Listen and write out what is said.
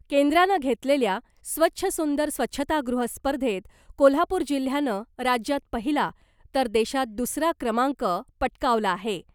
केंद्रानं घेतलेल्या ' स्वच्छ सुंदर स्वच्छतागृह स्पर्धेत ' कोल्हापूर जिल्ह्यानं राज्यात पहिला , तर देशात दुसरा क्रमांक पटकावला आहे .